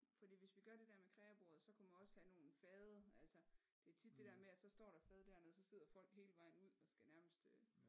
Fordi hvis vi gør det dér med kreabordet så kunne man også have nogle fade altså det er tit det dér med at så står der et fad dernede så sidder folk hele vejen ud og skal nærmest øh